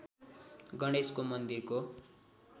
गणेशको मन्दिरको